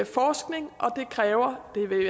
forskning og det kræver det vil